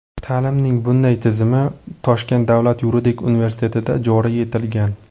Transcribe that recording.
Ta’limning bunday tizimi Toshkent davlat yuridik universitetida joriy etilgan.